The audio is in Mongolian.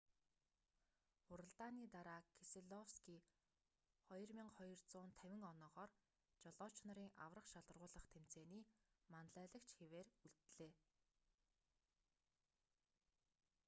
уралдааны дараа кеселовский 2,250 оноогоор жолооч нарын аварга шалгаруулах тэмцээний манлайлагч хэвээр үлдлээ